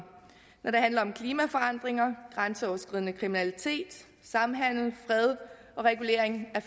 når det handler om klimaforandringer grænseoverskridende kriminalitet samhandel fred og regulering af